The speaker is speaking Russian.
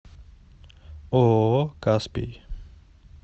ооо каспий